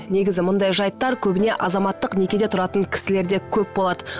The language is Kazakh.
негізі мұндай жайттар көбіне азаматтық некеде тұратын кісілерде көп болады